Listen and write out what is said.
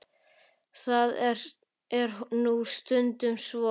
Það er nú stundum svo.